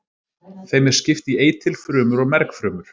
Þeim er skipt í eitilfrumur og mergfrumur.